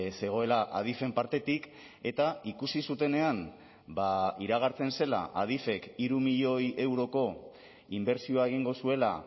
zegoela adifen partetik eta ikusi zutenean iragartzen zela adifek hiru milioi euroko inbertsioa egingo zuela